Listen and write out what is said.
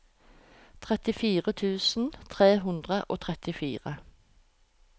trettifire tusen tre hundre og trettifire